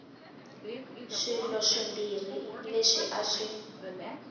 swilo swimbirhi leswi a swi